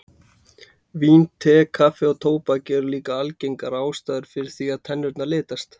Vín, te, kaffi og tóbak eru líka algengar ástæður fyrir því að tennurnar litast.